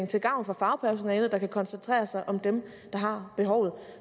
til gavn for fagpersonalet der kan koncentrere sig om dem der har behovet